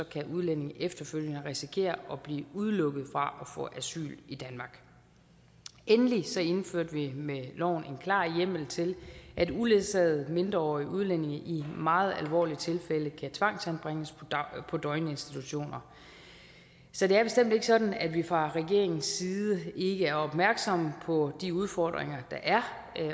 kan udlændinge efterfølgende risikere at blive udelukket fra at få asyl i danmark endelig indførte vi med loven en klar hjemmel til at uledsagede mindreårige udlændinge i meget alvorlige tilfælde kan tvangsanbringes på døgninstitutioner så det er bestemt ikke sådan at vi fra regeringens side ikke er opmærksomme på de udfordringer der er